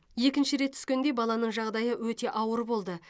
екінші рет түскенде баланың жағдайы өте ауыр болды